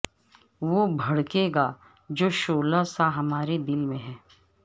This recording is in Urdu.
اور بھڑکے گا جو شعلہ سا ہمارے دل میں ہے